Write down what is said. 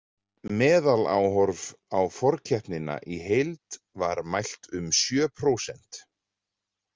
Meðaláhorf á forkeppnina í heild var mælt um sjö prósent.